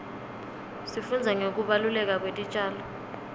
sifundza ngekubaluleka kwetitjalo